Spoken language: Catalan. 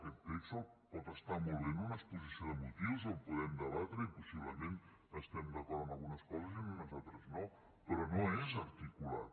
aquest text pot estar molt bé en una exposició de motius el podem debatre i possiblement estarem d’acord en algunes coses i en unes altres no però no és articulat